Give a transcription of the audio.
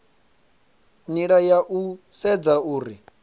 nila ya u sedza uri